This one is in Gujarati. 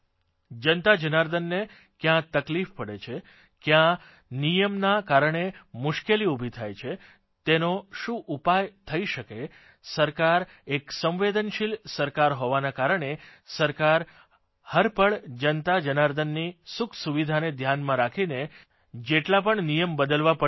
જનતાજનાર્દનને કયાં તકલીફ પડે છે કયા નિયમના કારણે મુશ્કેલી ઉભી થાય છે તેનો શું ઉપાય થઇ શકે છે સરકાર એક સંવેદનશીલ સરકાર હોવાના કારણે સરકાર હરપળ જનતાજનાર્દનની સુખસુવિધાને ધ્યાનમાં રાખીને જેટલા પણ નિયમ બદલવા પડે છે